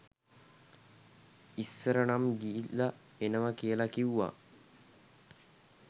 ඉස්සර නම් ගිහිල්ල එනව කියල කිව්ව